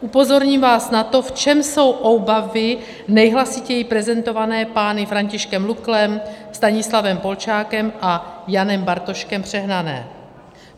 Upozorním vás na to, v čem jsou obavy nejhlasitěji prezentované pány Františkem Luklem, Stanislavem Polčákem a Janem Bartoškem přehnané.